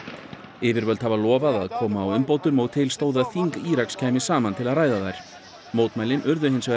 yfirvöld hafa lofað að koma á umbótum og til stóð að þing Íraks kæmi saman til að ræða þær mótmælin urðu hins vegar